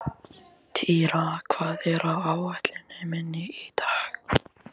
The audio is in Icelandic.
Týra, hvað er á áætluninni minni í dag?